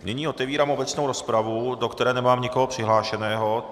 Nyní otevírám obecnou rozpravu, do které nemám nikoho přihlášeného.